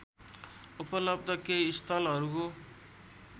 उपलब्ध केही स्थलहरूको